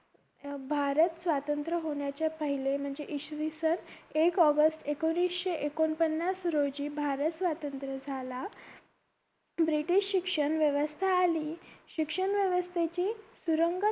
भारत स्वातंत्र होण्याच्या पहिले म्हणजे इसवीसन एक ऑगस्ट एकोणविशे एकोण पन्नास रोजी भारत स्वातंत्र झाला british शिक्षण व्यवस्था आली शिक्षण व्यवस्थेची सुरंगत